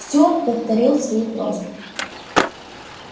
стюарт повторил свою просьбу